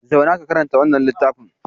Zauna ka karanta wannan littafin!